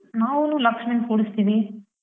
ನಾವೂನು ಲಕ್ಷ್ಮಿನ್ ಕೂರಿಸ್ತಿವಿ.